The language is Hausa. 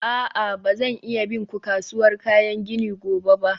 a'a, ba zan iya bin ku kasuwar kayan gini gobe ba.